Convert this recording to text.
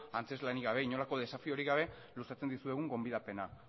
antzezlanik gabe inolako desafiorik gabe luzatzen dizuegun gonbidapena